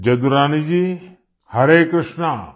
Yadurani ji Harekrushna